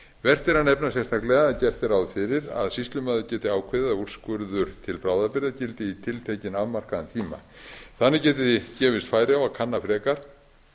vert er að nefna sérstaklega að gert er ráð fyrir að sýslumaður geti ákveðið að úrskurður til bráðabirgða gildi í tiltekinn afmarkaðan tíma þannig geti gefist færi á að kanna frekar